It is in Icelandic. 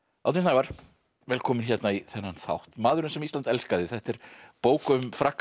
Árni Snævarr velkominn í þennan þátt maðurinn sem Ísland elskaði þetta er bók um frakkann